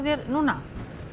núna